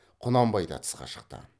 құнанбай да тысқа шықты